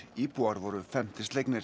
íbúar voru felmtri slegnir